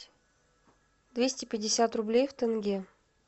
двести пятьдесят рублей в тенге